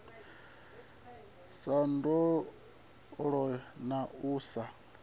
sa londola na u sa